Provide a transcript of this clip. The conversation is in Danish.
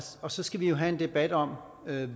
og så skal vi have en debat om